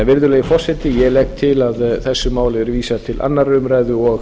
virðulegi forseti ég legg til að þessu máli verði vísað til annarrar umræðu og